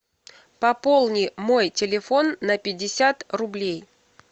пополни мой телефон на пятьдесят рублей